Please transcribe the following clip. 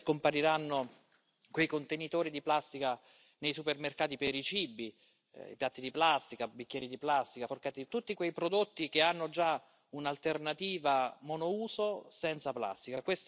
Finalmente scompariranno quei contenitori di plastica nei supermercati per i cibi, i piatti di plastica, i bicchieri di plastica, le posate, tutti quei prodotti che hanno già un'alternativa monouso senza plastica.